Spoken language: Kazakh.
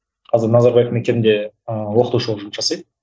қазір назарбаев мектебінде ыыы оқытушы болып жұмыс жасайды